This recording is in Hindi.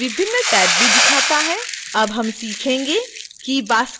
अब हम सीखेंगे कि basket कैसे बंद करना है